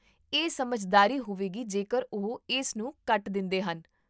ਇਹ ਸਮਝਦਾਰੀ ਹੋਵੇਗੀ ਜੇਕਰ ਉਹ ਇਸ ਨੂੰ ਕੱਟ ਦਿੰਦੇਹ ਨ